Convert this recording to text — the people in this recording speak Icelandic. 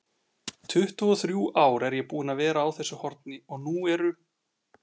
tuttugu-og-þrjú ár er ég búinn að vera á þessu horni og nú eru